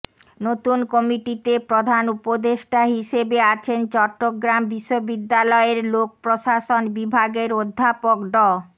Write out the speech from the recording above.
নতুন কমিটিতে প্রধান উপদেষ্টা হিসেবে আছেন চট্টগ্রাম বিশ্ববিদ্যালয়ের লোক প্রশাসন বিভাগের অধ্যাপক ড